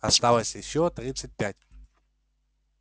оставалось ещё тридцать пять